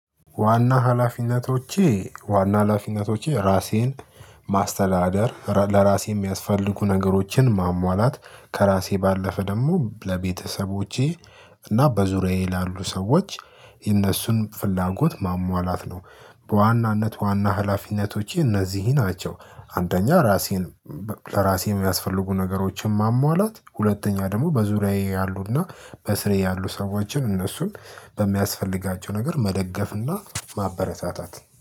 ዋና ሀላፊነቶቼ ዋና ሀላፊነቶቼ ራሴን ማስተዳደር ለራሴ የሚያስፈልጉ ነገሮችን ማሟላት ከራሴ ባለፈ ደግሞ ለቤተሰቦቼ እና በዙሪያዬ ላሉ ሰዎች የነሱን ፍላጎት ማሟላት ነው። በዋናነት ዋና ህላፊነቶቼ እነዚህ ናቸው። አንደኛ ራሴን ለራሴ የሚያስፈልጉ ነገሮችን ማሟላት ሁለተኛ ደግሞ በዙሪያዬ ያሉና በስሬ ያሉ ሰዎችን እነሱን በሚያስፈልጋቸው ነገር መደገፍና ማበረታታት